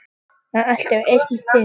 Það er alltaf eins með þig!